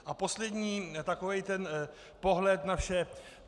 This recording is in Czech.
A poslední takový ten pohled na vše.